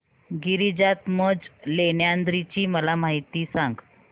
गिरिजात्मज लेण्याद्री ची मला माहिती सांग